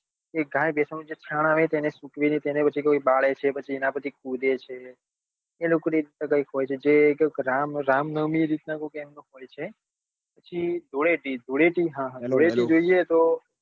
કઈક ગાય ભેંશો ના છાણ આવે તેને સૂકવે છે પછી તેને કોઈ બાળે છે પછી તેના પર કુદે છે તે લોકો ને આ રીતે કઈક હોય છે જે કોઈક રામ રામનવમી એ રીત નાં કઈક એમને હોય છે પછી ધૂળેટી ધૂળેટી હા હા ધૂળેટી જોઈએ તો